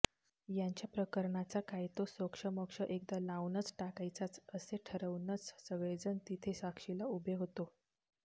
यांच्या प्रकरणाचा काय तो सोक्षमोक्ष एकदा लावूनच टाकायचाच असं ठरवूनच सगळेजणं तिथे साक्षीला उभे होतो